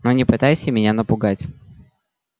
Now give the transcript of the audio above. но не пытайся меня напугать